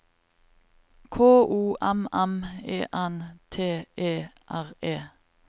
K O M M E N T E R E